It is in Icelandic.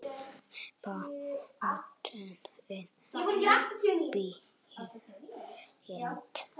Bátnum brýnt.